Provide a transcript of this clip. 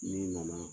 N'i nana